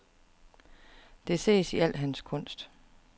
Det ses i al hans kunst.